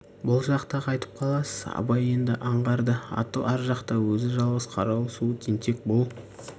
бұл жақта қайтіп қаласыз абай енді аңғарды аты ар жақта өзі жалғыз қарауыл суы тентек бұл